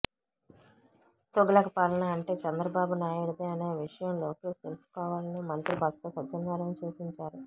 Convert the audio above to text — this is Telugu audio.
తుగ్లక్ పాలన అంటే చంద్రబాబు నాయుడిదే అనే విషయం లోకేశ్ తెలుసుకోవాలని మంత్రి బొత్స సత్యనారాయణ సూచించారు